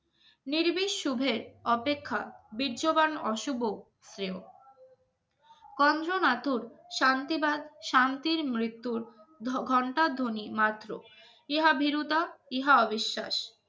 নির্বিষ সুবহে অপেক্ষা বীর্যবান অশুভ শ্রেয় কান্জ নাথ শান্তিবাদ শান্তির মৃত্যুর ঘন্টার ধনী মাত্র ইহাভীরতা ইহা অবিশ্বাস